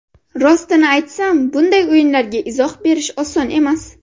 Rostini aytsam bunday o‘yinlarga izoh berish oson emas.